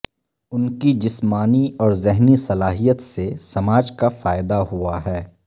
ان کی جسمانی اور ذہنی صلاحیت سے سماج کا فائدہ ہوا ہے